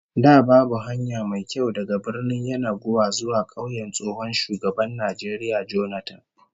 Da babu hanya mai kyau daga Birnin Yenagoa zuwa kauyen tsohon shugaban Najeriya Jonathan